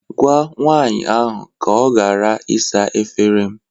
Gwa nwanyị ahụ ka ọ ghara ịsa efere m